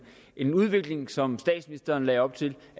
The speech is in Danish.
en udvikling som statsministeren lagde op til